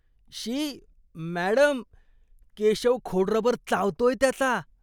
शी! Madam, Keshav खोडरबर चावतोय त्याचा.